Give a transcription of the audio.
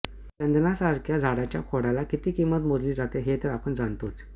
चंदनासारख्या झाडाच्या खोडला किती किंमत मोजली जाते ते तर आपण जाणतोच